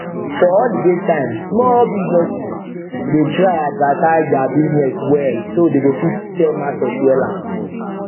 for holiday time small businesses dey try advertise their business well so dey go fit sell market wella